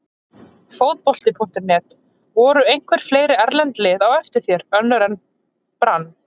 Fótbolti.net: Voru einhver fleiri erlend lið á eftir þér, önnur en Brann?